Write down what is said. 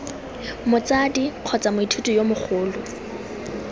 motsadi kgotsa moithuti yo mogolo